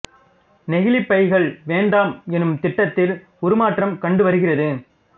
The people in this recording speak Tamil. நெகிழிப் பைகள் வேண்டாம் எனும் திட்டத்தில் உருமாற்றம் கண்டு வருகிறது